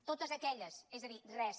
totes aquelles és a dir res